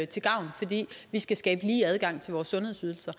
til gavn fordi vi skal skabe lige adgang til vores sundhedsydelser